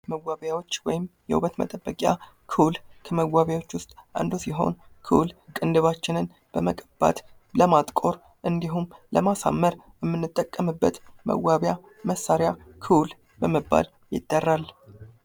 መዋቢያዎች ወይም የውበት መጠበቂያ ኩል ከመዋቢያዎች ውስጥ አንዱ ሲሆን ኩል ቅንድባችንን በመቀባት ለማጥቆር ወይም ለማሳመር የምንጠቀምበት መዋቢያ መሳርያ ኩል በመባል ይጠራል።